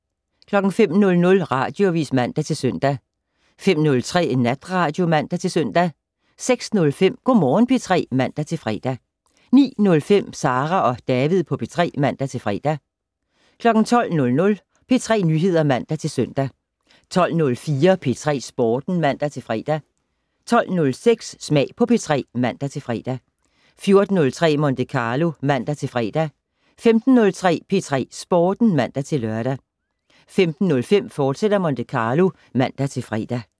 05:00: Radioavis (man-søn) 05:03: Natradio (man-søn) 06:05: Go' Morgen P3 (man-fre) 09:05: Sara og David på P3 (man-fre) 12:00: P3 Nyheder (man-søn) 12:04: P3 Sporten (man-fre) 12:06: Smag på P3 (man-fre) 14:03: Monte Carlo (man-fre) 15:03: P3 Sporten (man-lør) 15:05: Monte Carlo, fortsat (man-fre)